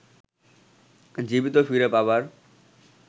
জীবিত ফিরে পাবার